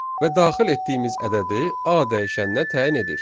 Və daxil etdiyimiz ədədi A dəyişəninə təyin edir.